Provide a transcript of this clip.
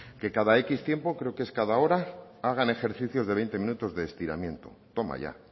que cada x tiempo cree que es cada hora hagan ejercicio de veinte minutos de estiramiento toma ya